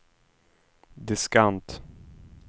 diskant